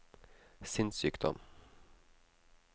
sinnssykdom